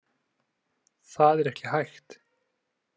Það er ekki hægt.